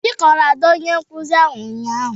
Obi kọọrọ Ada onye nkuzi ụnyahụ